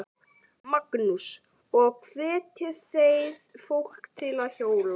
Magnús: Og hvetjið þið fólk til að hjóla?